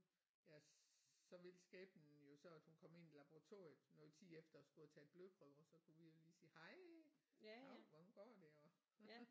Ja så ville skæbnen jo så at hun kom ind i laboratoriet noget tid efter og skulle have taget blodprøver så kunne vi jo lige sige hej dav hvordan går det og